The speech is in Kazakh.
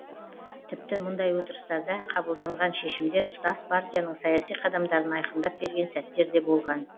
тіпті мұндай отырыстарда қабылданған шешімдер тұтас партияның саяси қадамдарын айқындап берген сәттер де болған